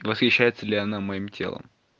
восхищается ли она моим телом